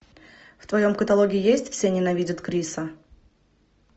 в твоем каталоге есть все ненавидят криса